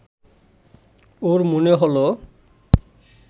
ওর মনে হল